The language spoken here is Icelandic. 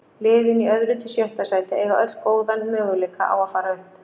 Liðin í öðru til sjötta sæti eiga öll góðan möguleika á að fara upp.